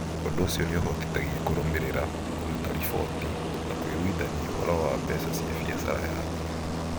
Ũndũ ũcio nĩ ũhotithagia kũrũmĩrĩra, kũruta riboti, na kũiguithania ũhoro wa mbeca cia biacara yaku.